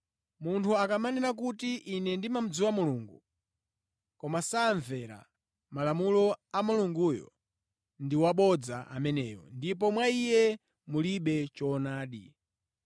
Munthu akamanena kuti, “Ine ndimadziwa Mulungu,” koma samvera malamulo a Mulunguyo, ndi wabodza ameneyo ndipo mwa iye mulibe choonadi.